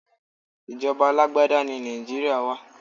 Ìjọba alágbádá ní Nàìjíríà wá.